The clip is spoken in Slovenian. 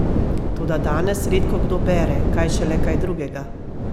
Toda danes redko kdo bere, kaj šele kaj drugega!